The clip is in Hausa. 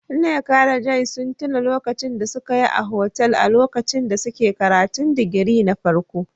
Nneka da Joy sun tuna lokacin da suka yi a hostels a lokacin da suke karatun digiri na farko.